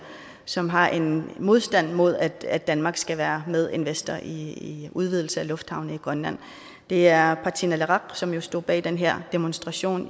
som har en modstand mod at at danmark skal være medinvestor i udvidelse af lufthavne i grønland det er partii naleraq som jo stod bag den her demonstration